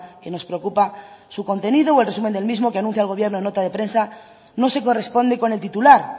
que nos preocupa su contenido o el resumen del mismo que anuncia el gobierno en nota de prensa no se corresponde con el titular